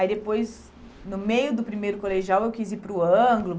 Aí depois, no meio do primeiro colegial, eu quis ir para o Anglo.